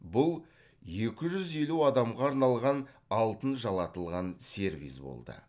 бұл екі жүз елу адамға арналған алтын жалатылған сервиз болды